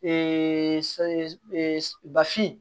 bafin